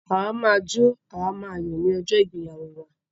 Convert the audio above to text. À wa máa jó, à máa yò ni ojó ìgbéyàwó wa